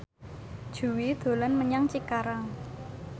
Jui dolan menyang Cikarang